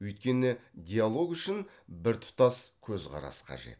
өйткені диалог үшін біртұтас көзқарас қажет